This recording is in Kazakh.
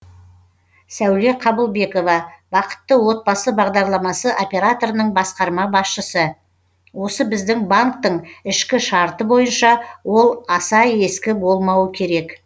сәуле қабылбекова бақытты отбасы бағдарламасы операторының басқарма басшысы осы біздің банктің ішкі шарты бойынша ол аса ескі болмауы керек